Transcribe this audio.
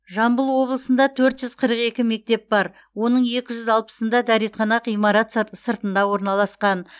жамбыл облысында төрт жүз қырық екі мектеп бар оның екі жүз алпысында дәретхана ғимарат сыр сыртында орналасқан